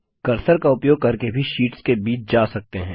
cursor का उपयोग करके भी शीट्स के बीच जा सकते हैं